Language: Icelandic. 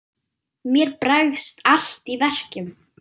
Mér bregst allt í verkum.